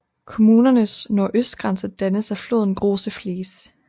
Kommunens nordøstgrænse dannes af floden Große Fließ